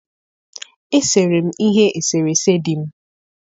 Esere m ihe eserese di m.